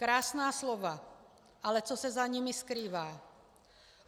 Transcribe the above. Krásná slova, ale co se za nimi skrývá.